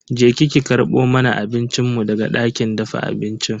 Je ki ki karbo mana abincin mu daga dakin dafa abincin.